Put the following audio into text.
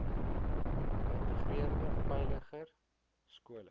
geïntegreerde veiliger skole